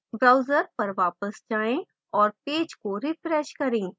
browser पर वापस जाएँ और पेज को refresh करें